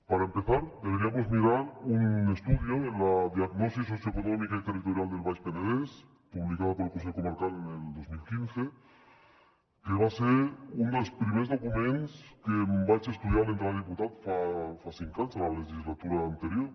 para empezar deberíamos mirar un estudio la diagnosi socioeconòmica i territorial del baix penedès publicada por el consell comarcaldels primers documents que em vaig estudiar a l’entrar de diputat fa cinc anys en la legislatura anterior